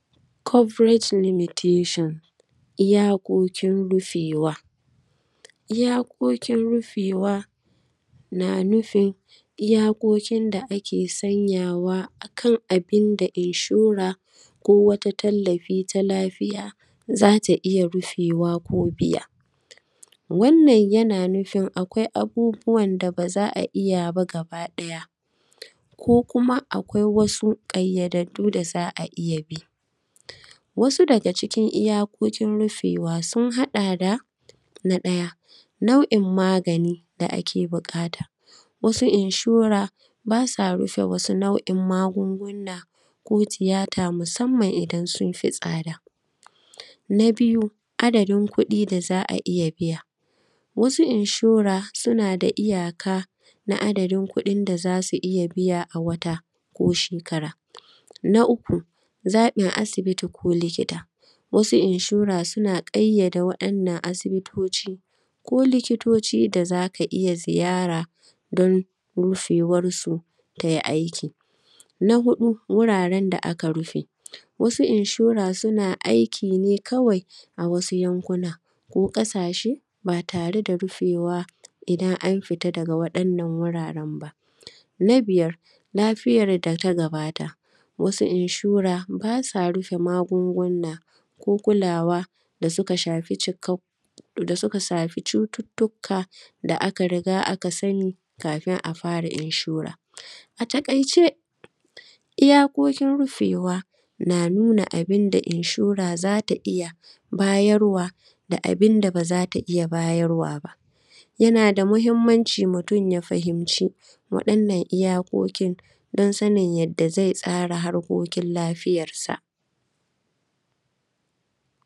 “Coverage limitation”, iyakokin rufewa, iyakokin rufewa, na nufin, iyakokin da ake sanya wa a kana bin da inshore ko wata tallafi ta lafiya, za ta iya rufewa ko biya. Wannan, yana nufin akwai abubuwan da ba za a iya ba gabaɗaya ko kuma akwai wasu ƙayyadaddu da za a iya bi. Wasu daga cikin iyakokin rufewa sun haɗa da: na ɗaya, nau’inmagani da ake biƙata, wasu inshore, ba sa rufe wasu nau’in magungunna ko tiyata musamman idan sun fi tsada. Na biyu, adadin kuɗi da za a biya, wasu inshore suna da iyaka na adadin kuɗin da za su iya biya a wata ko shekara. Na uku, zaƃin asibiti ko likita, wasu inshore suna ƙayyade waɗannan asibitoci ko likitoci da za ka iya ziyara don rufewarsu tai aiki. Na huɗu, wuraren da aka rufe, wasu inshore suna aiki ne kawai a wasu yankuna ko ƙasashe ba tare da rufewa idan an fita daga waɗannnan wuraren ba. Na biyar, lafiyar da ta gabata, wasu inshore, ba sa rufe magungunna ko kulawa da suka shafi cikak; da suka safi cututtukka da aka riga aka sani kafin a fara inshore. A taƙaice, iyakokin rufewa, na nuna abin da inshore za ta iya bayarwa da abin da ba za ta iya bayarwa ba. Yana da muhimmanci mutun ya fahimci waɗannan iyakokin don sanin yadda ze tsara harkokin lafiyarsa.